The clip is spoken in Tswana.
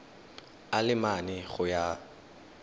a le mane go ya